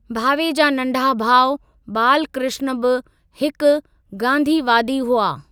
भावे जा नंढा भाउ बालकृष्ण बि हिकु गांधीवादी हुआ।